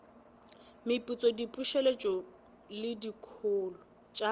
meputso diputseletšo le dikholo tša